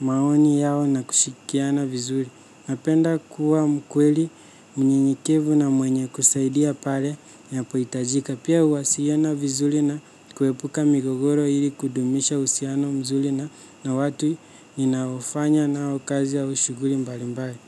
maoni yao, na kushirikiana vizuri. Napenda kuwa mkweli. Mnyenyekevu na mwenye kusaidia pale. Napo hitajika. Pia huwasilana vizuri na. Kuepuka migogoro ili kudumisha uhusiano mzuri na, na watu. Naofanya nao, kazi au shughuli mbalimbali.